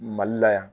Mali la yan